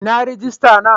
Inna rijista na?